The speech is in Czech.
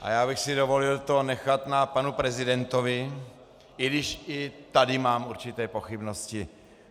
A já bych si dovolil to nechat na panu prezidentovi, i když i tady mám určité pochybnosti.